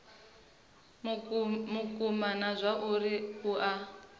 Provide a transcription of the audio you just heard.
vhukuma na zwauri a u